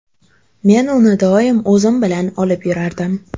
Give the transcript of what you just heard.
Men uni doim o‘zim bilan olib yurardim.